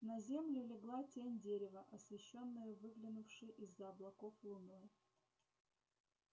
на землю легла тень дерева освещённою выглянувшей из за облаков луной